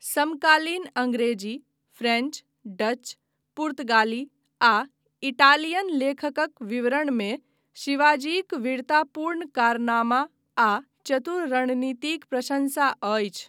समकालीन अंग्रेजी, French, Dutch, पुर्तगाली आ इटालियन लेखकक विवरणमे शिवाजीक वीरतापूर्ण कारनामा आ चतुर रणनीतिक प्रशंसा अछि।